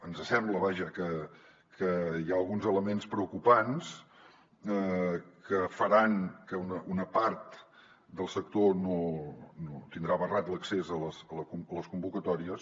ens sembla vaja que hi ha alguns elements preocupants que faran que una part del sector tindrà barrat l’accés a les convocatòries